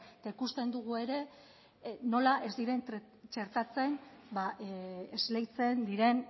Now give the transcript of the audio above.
eta ikusten dugu ere nola ez diren txertatzen esleitzen diren